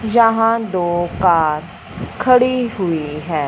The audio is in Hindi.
जहां दो कार खड़ी हुई हैं।